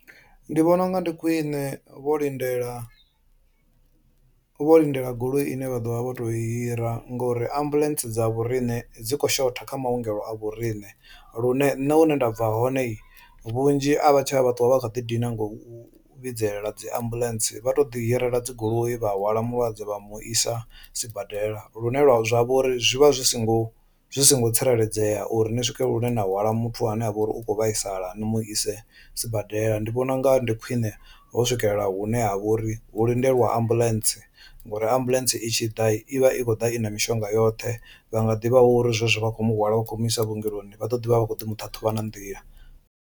Ndi vhona unga ndi khwine vho lindela vho lindela goloi ine vha ḓovha vho to i hira ngori ambuḽentse dza vho riṋe dzi kho shotha kha maongelo a vho riṋe, lune nṋe hune nda bva hone vhunzhi a vha tsha vha ṱuwa vha kha ḓi dina ngau vhidzelela dzi ambuḽentse vha to ḓi hirela dzi goloi vha hwala mulwadze vha mu isa sibadela. Lune zwa vha uri zwi vha zwi singo zwi singo tsireledzea uri ni swike lune na hwala muthu ane avha uri ukho vhaisala ni mu ise sibadela, ndi vhona unga ndi khwine ho swikelela hune ha vha uri hu lindelwa ambuḽentse ngori ambuḽentse itshi ḓa i vha i khou ḓa i na mishonga yoṱhe vha nga ḓivha uri zwezwo vha khou mu hwala vha khou mu isa vhuongeloni vha ḓo ḓivha vha vha kho ḓi muṱhaṱhuvha na nḓila.